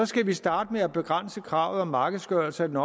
skal vi starte med at begrænse kravet om markedsgørelse af den